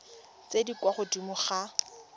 tse di kwa godimo ga